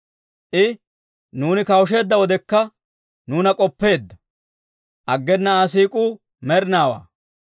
I nuuni kawusheedda wodekka nuuna k'oppeedda; aggena Aa siik'uu med'inaawaa.